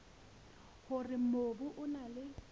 hore mobu o na le